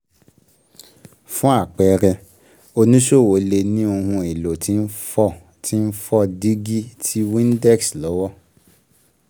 Fún àpẹẹrẹ, oníṣòwò lè ní Ohun èlò tí n fọ tí n fọ dígí ti Windex lọ́wọ ́.